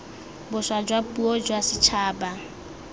boswa jwa puo jwa setšhaba